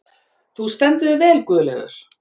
Þú stendur þig vel, Guðleifur!